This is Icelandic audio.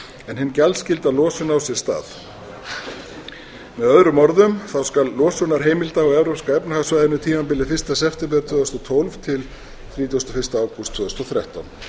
en hin gjaldskylda losun á sér stað með öðrum orðum skal losunarheimilda á evrópska efnahagssvæðinu tímabilið fyrsta september tvö þúsund og tólf til þrítugasta og fyrsta ágúst tvö þúsund og þrettán